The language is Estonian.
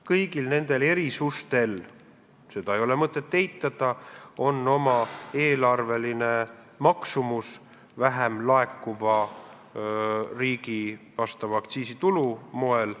Kõigil nendel erisustel – seda ei ole mõtet eitada – on oma eelarveline hind vähem laekuva aktsiisitulu näol.